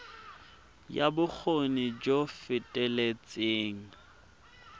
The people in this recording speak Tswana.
ya bokgoni jo bo feteletseng